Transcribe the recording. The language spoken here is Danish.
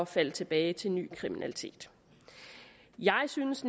falde tilbage til ny kriminalitet jeg synes